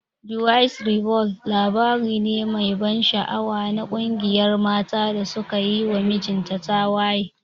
"The wives revolt" labari ne mai ban sha'awa na ƙungiyar matan da suka yi wa mijinta tawaye.